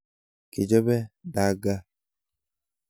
Kichape dagaa